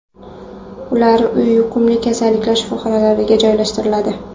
Ular yuqumli kasalliklar shifoxonalariga joylashtiriladi.